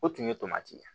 O tun ye tomati ye